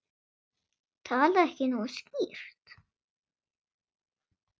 Talaði ég ekki nógu skýrt?